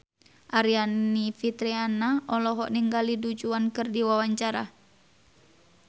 Aryani Fitriana olohok ningali Du Juan keur diwawancara